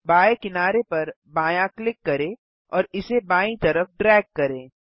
बाएँ किनारे पर बायाँ क्लिक करें और इसे बायीं तरफ ड्रैग करें